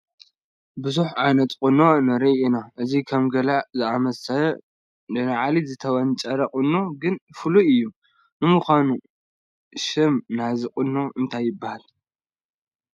ብዙሕ ዓይነት ቁኖ ንርኢ ኢና፡፡ እዚ ከም ገለ ዝኣምሰለ ንላዕሊ ዝተወንጨረ ቁኖ ግን ፍሉይ እዩ፡፡ ንምዃኑ ሽም ናይዚ ቁኖ እንታይ ይበሃል ይኾን?